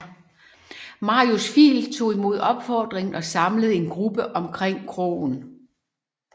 Marius Fiil tog imod opfordringen og samlede en gruppe omkring kroen